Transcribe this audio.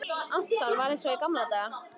Anton, varð eins og í gamla daga.